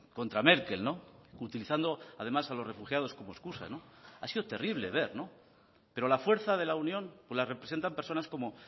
contra merkel utilizando además a los refugiados como excusa ha sido terrible ver pero la fuerza de la unión la representan personas como